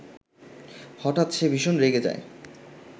হঠাৎ সে ভীষণ রেগে যায়